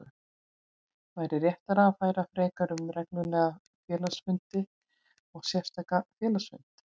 væri réttara að ræða frekar um reglulegan félagsfund og sérstakan félagsfund.